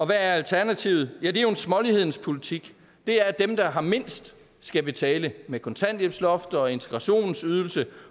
hvad er alternativet ja det er en smålighedens politik det er at dem der har mindst skal betale med kontanthjælpsloft og integrationsydelse